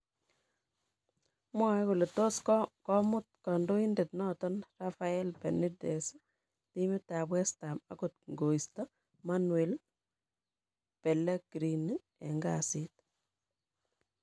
Mwae kole tos komut kandoindet noton Rafael Benitez timit ab Westham angot koisto Manuel Pellegrini en kasit